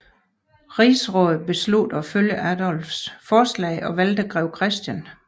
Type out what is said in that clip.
Rigsrådet besluttede at følge Adolfs forslag og valgte grev Christian